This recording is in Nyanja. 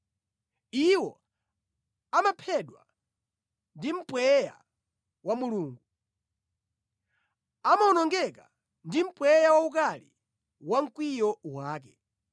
Iwo amaphedwa ndi mpweya wa Mulungu; amawonongeka ndi mpweya waukali wa mkwiyo wake.